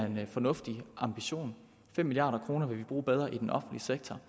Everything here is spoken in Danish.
en fornuftig ambition fem milliard kroner vil vi bruge bedre i den offentlige sektor